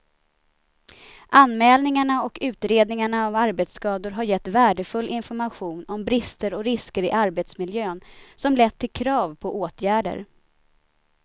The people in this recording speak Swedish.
Anmälningarna och utredningarna av arbetsskador har gett värdefull information om brister och risker i arbetsmiljön som lett till krav på åtgärder.